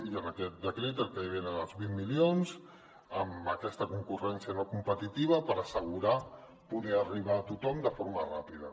i en aquest decret el que hi havia eren els vint milions amb aquesta concurrència no competitiva per assegurar poder arribar a tothom de forma ràpida